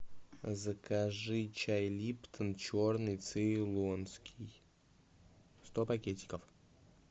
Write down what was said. закажи чай липтон черный цейлонский сто пакетиков